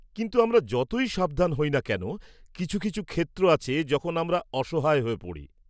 -কিন্তু, আমরা যতই সাবধান হই না কেন, কিছু কিছু ক্ষেত্র আছে যখন আমরা অসহায় হয়ে পড়ি।